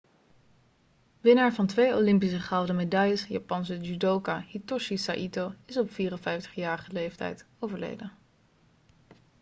winnaar van twee olympische gouden medailles japanse judoka hitoshi saito is op 54-jarige leeftijd overleden